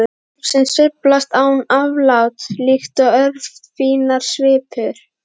um sem sveiflast án afláts líkt og örfínar svipur.